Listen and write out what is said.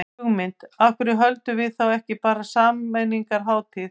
Hugmynd, af hverju höldum við þá ekki bara sameiningarhátíð.